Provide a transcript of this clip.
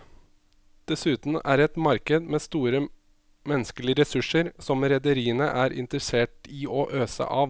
Dessuten er det et marked med store menneskelige ressurser som rederiene er interessert i å øse av.